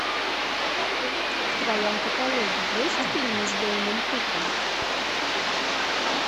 в твоем каталоге есть фильмы с дейном куком